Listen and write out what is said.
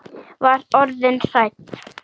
Var orðin hrædd!